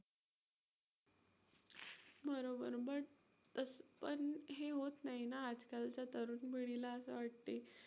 बरोबर, but तसं पण हे होत नाही ना आजकालच्या तरुण पिढीला असं वाटतंय.